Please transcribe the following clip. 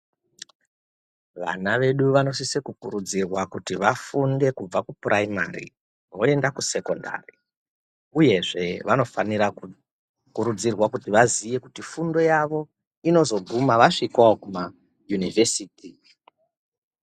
Vana vedu vanosise kurudzirwa kuti vafunde kubva kupuraimari voende kusekondari, uyezve vanofanira kukurudzirwa kuti vazive kuti fundo yavo inozoguma vasvikawo kumayunivhesiti.